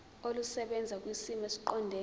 olusebenza kwisimo esiqondena